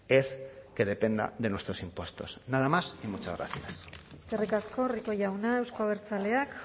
es que dependa de nuestros impuestos nada más y muchas gracias eskerrik asko rico jauna euzko abertzaleak